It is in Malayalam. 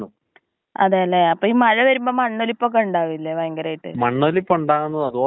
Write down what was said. പക്ഷെ അതാണ് തെറ്റ്. ആദ്യമായിറ്റ് അവര് വന്നാ നമ്മക്ക് അതിനെ ശരിയാക്കണതെ ഉള്ളു. അല്ലേ?